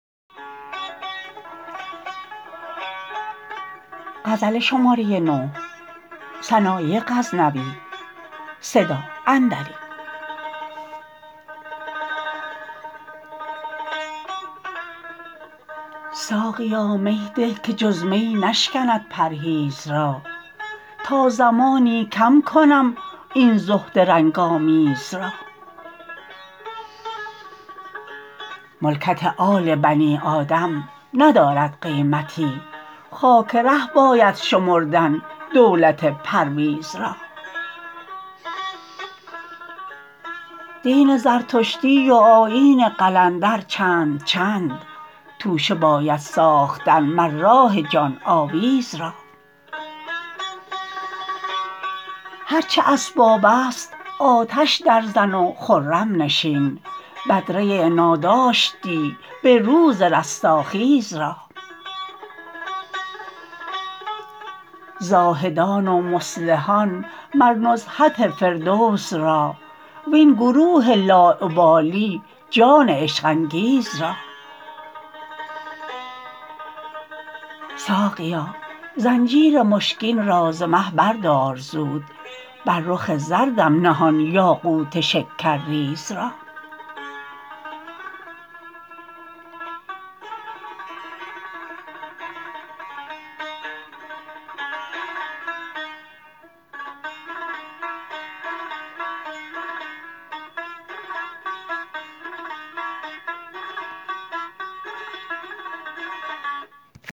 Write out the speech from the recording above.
ساقیا می ده که جز می نشکند پرهیز را تا زمانی کم کنم این زهد رنگ آمیز را ملکت آل بنی آدم ندارد قیمتی خاک ره باید شمردن دولت پرویز را دین زردشتی و آیین قلندر چند چند توشه باید ساختن مر راه جان آویز را هر چه اسباب است آتش درزن و خرم نشین بدره ناداشتی به روز رستاخیز را زاهدان و مصلحان مر نزهت فردوس را وین گروه لاابالی جان عشق انگیز را ساقیا زنجیر مشکین را ز مه بردار زود بر رخ زردم نه آن یاقوت شکرریز را